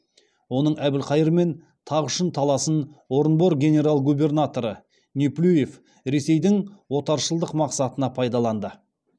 оның әбілқайырмен тақ үшін таласын орынбор генерал губернаторы неплюев ресейдің отаршылдық мақсатына пайдаланды